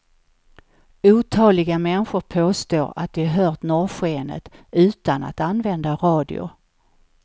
Otaliga människor påstår att de hört norrskenet utan att använda radio.